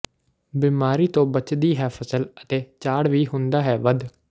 ਬਿਮਾਰੀ ਤੋਂ ਬਚਦੀ ਹੈ ਫਸਲ ਅਤੇ ਝਾੜ ਵੀ ਹੁੰਦਾ ਹੈ ਵੱਧ